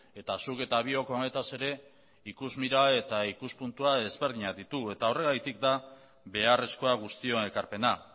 eta zuk eta biok honetaz ere ikusmira eta ikuspuntua ezberdinak ditugu eta horregatik da beharrezkoa guztion ekarpena